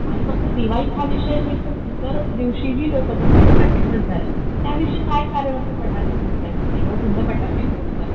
आणि फक्त दिवाळीच हा विषय नाही तर इतर दिवशीही लोक जस आता थर्टी फस्ट झालं, त्यादिवशी काय कारण असतं फटाके फोडण्याच, तेव्हासुद्धा फटाके फोडतात.